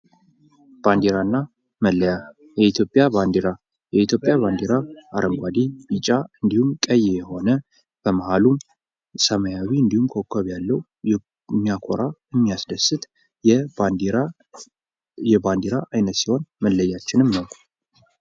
ባንዲራ እና መለያ የኢትዮጵያ ባንዲራ :የኢትዮጵያ ባንዲራ አረንጕዴ ቢጫ እንዲሁም በመሃሉ ሰማያዊ እንዲሁም ኮከብ ያለው የሚያኮራ የሚያስደስት የባንዲራ አይነት ሲሆን መለያችንም ነው::